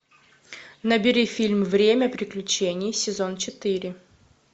набери фильм время приключений сезон четыре